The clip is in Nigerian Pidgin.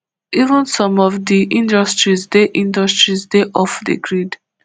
even some of di industries dey industries dey off di grid